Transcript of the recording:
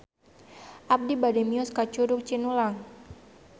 Abi bade mios ka Curug Cinulang